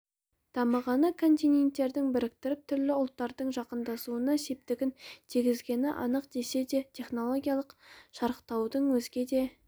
дамығаны континенттерді біріктіріп түрлі ұлттардың жақындасуына септігін тигізгені анық десе де технологиялық шарықтаудың өзге де